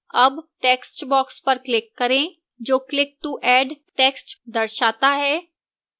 add textbox पर click करें जो click to add text दर्शाता है